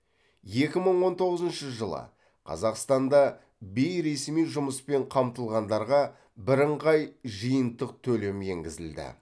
екі мың он тоғызыншы жылы қазақстанда бейресми жұмыспен қамтылғандарға бірыңғай жиынтық төлем енгізілді